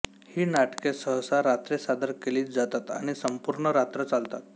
ही नाटके सहसा रात्री सादर केली जातात आणि संपूर्ण रात्र चालतात